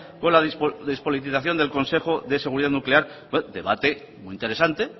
con la despolitización del consejo de seguridad nuclear debate muy interesante